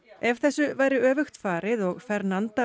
ef þessu væri öfugt farið og